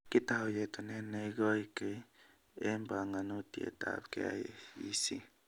Kitou yetunet neigoikee en bongonutietab KEC